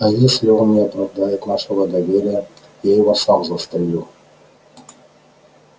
а если он не оправдает нашего доверия я его сам застрелю